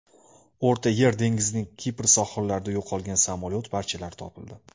O‘rta Yer dengizining Kipr sohillarida yo‘qolgan samolyot parchalari topildi.